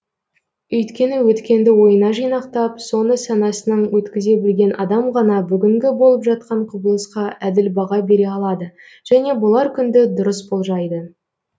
өйткені өткенді ойына жинақтап соны санасынан өткізе білген адам ғана бүгінгі болып жатқан құбылысқа әділ баға бере алады және болар күнді дұрыс болжайды